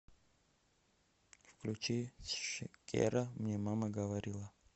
включи ши кера мне мама говорила